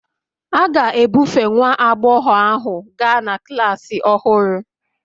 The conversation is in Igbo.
A ga-ebufe nwa agbọghọ ahu gaa na klas ọhụrụ